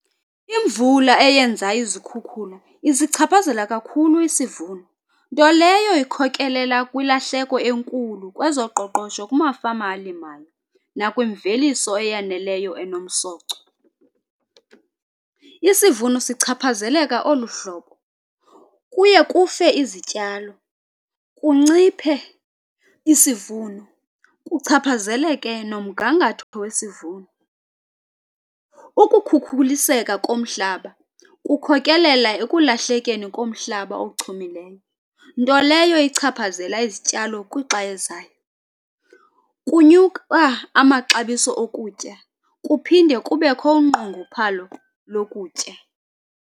Imvula eyenza izikhukhula isichaphazela kakhulu isivuno, nto leyo ekhokelela kwilahleko enkulu kwezoqoqosho kumafama alimayo nakwimveliso eyaneleyo enomsoco. Isivuno sichaphazeleka oluhlobo, kuye kufe izityalo, kunciphe isivuno, kuchaphazeleke nomgangatho wesivuno. Ukukhukhuliseka komhlaba kukhokeleka ekulahlekeni komhlaba ochumileyo, nto leyo ichaphazela izityalo kwixa elizayo. Kunyuka amaxabiso okutya kuphinde kubekho unqongophalo lokutya.